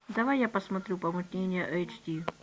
давай я посмотрю помутнение эйч ди